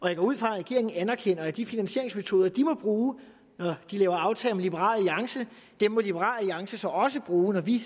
jeg går ud fra at regeringen anerkender at de finansieringsmetoder de må bruge når de laver aftaler med liberal alliance må liberal alliance så også bruge når vi